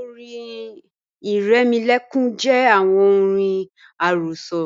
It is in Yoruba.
ọ̀rìn iremolekun jẹ awọn ọ̀rìn arosọ